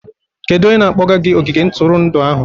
Kedu onye na-akpọga gị ogige ntụrụndụ ahụ?